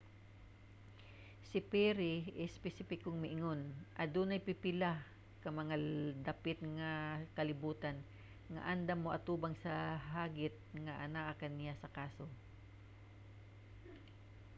si perry espesipikong miingon adunay pipila ka mga dapit sa kalibutan nga andam mo-atubang sa hagit nga anaa ania sa kaso.